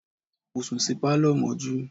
Mo sùn sí Pálọ̀ mọ́jú.